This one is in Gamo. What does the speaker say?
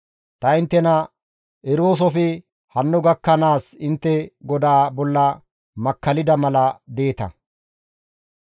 Ta inttena eroosofe hanno gakkanaas intte GODAA bolla makkallida mala deeta.